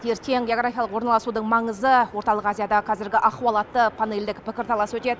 ертең географиялық орналасудың маңызы орталық азиядағы қазіргі ахуал атты панельдік пікірталас өтеді